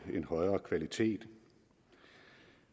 en højere kvalitet